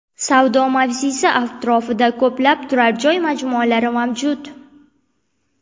Savdo mavzesi atrofida ko‘plab turar joy majmualari mavjud.